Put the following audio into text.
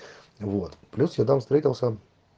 вот плюс я там встретился